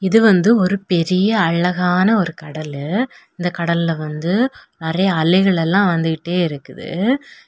இது வந்து ஒரு பெரிய அழகான ஒரு கடலு இந்த கடல்ல வந்து நறைய அலைகளெல்லாம் வந்துகிட்டே இருக்குது.